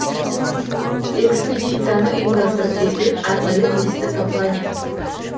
экспедицияны ұйымдастырып берген арнайы туристік компания